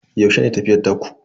Yaushe ne tafiyar taku?